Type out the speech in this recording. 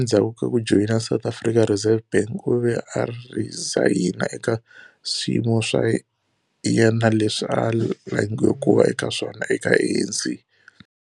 Endzhaku ka ku joyina South African Reserve Bank, u ve a rhizayina eka swiyimo swa yena leswi a langiwe ku va eka swona eka ANC.